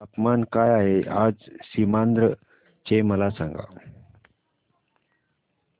तापमान काय आहे आज सीमांध्र चे मला सांगा